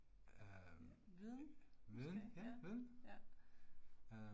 Viden, måske? Ja, ja